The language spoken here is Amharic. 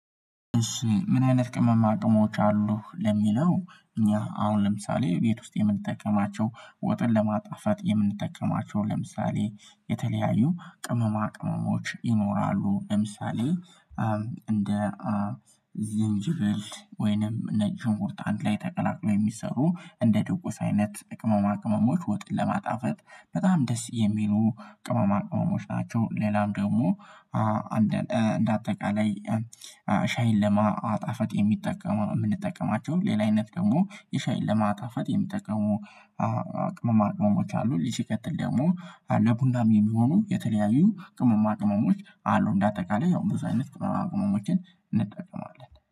እሺ ምን አይነት ቅመማ አቅሞች አሉ ለሚለው እኛ አሁን ለምሳሌ ቤት ውስጥ የምንጠቀማቸው ወጥን ለማጣፋት የምንጠቀማቸው ለምሳሌ የተለያዩ ቅመማ ቅመሞች ይኖራሉ ለምሳሌ እንደ ዝንጅብል ወይንም ነጭ ሽንኩርት ላይ ተቀላቅሎ የሚሰሩ እንደ ድጎስ አይነት ቅመማ ቅመሞች ወጥ ለማጣፈጥ በጣም ደስ የሚሉ ቅመማ ቅመሞች ናቸው። ሌላም ደግሞ እንደ አጠቃላይ ሻይን ለማጣፈት የሚጠቀሙ የምንጠቀማቸው ሌላ አይነት ደግሞ የሻይን ለማጣፈጥ የሚጠቀሙ አቅመ ቅመሞች አሉ። ስቀጥል ደግሞ ለቡናም የሚሆኑ የተለያዩ ቅመማ ቅመሞች አሉ። እንደ አጠቃላይ ያው ብዙ አይነት ቅናሽ መሆን እንጠቀማለን